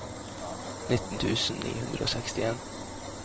nitten tusen ni hundre og sekstien